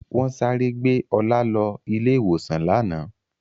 Wọ́n sáré gbé Ọlá lọ ilé-ìwòsàn lánàá.